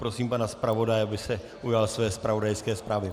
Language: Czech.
Prosím pana zpravodaje, aby se ujal své zpravodajské zprávy.